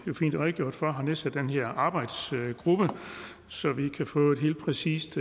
jo fint er redegjort for har nedsat den her arbejdsgruppe så vi kan få et helt præcist